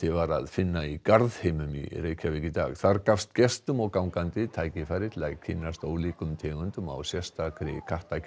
var að finna í Garðheimum í dag þar gafst gestum og gangandi tækifæri til að kynnst ólíkum tegundum á sérstakri